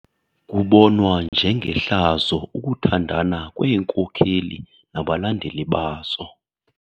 Kubonwa njengehlazo ukuthandana kweenkokeli nabalandeli bazo.